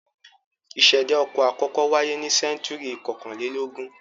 Ìṣẹ̀dá ọkọ̀ àkọ́kọ́ wáyé ní sẹ́ńtúrì kọkànlélógún.